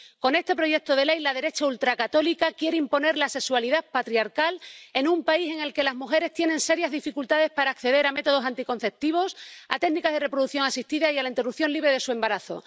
Con este proyecto de ley, la derecha ultracatólica quiere imponer la sexualidad patriarcal en un país en el que las mujeres tienen serias dificultades para acceder a métodos anticonceptivos, a técnicas de reproducción asistida y a la interrupción libre de su embarazo